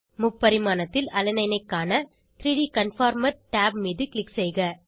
முப்பரிமாணத்தில் alanine ஐ காண 3ட் கன்ஃபார்மர் tab மீது க்ளிக் செய்க